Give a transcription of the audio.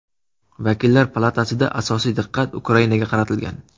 Vakillar palatasida asosiy diqqat Ukrainaga qaratilgan.